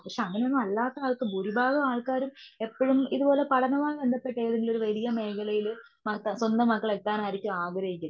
പക്ഷെ അങ്ങനൊന്നും അല്ലാത്ത ആൾക്കും ഭുരിഭാഗമാൾക്കാരും എപ്പഴും ഇതുപോലെ പഠനമായി ബന്ധപ്പെട്ട് എന്തെങ്കിലും ഒരു വലിയ മേഖലയിൽ മാത്ര സ്വന്തം മക്കൾ എത്താനാണ് ആഗ്രഹിക്കുന്നെ.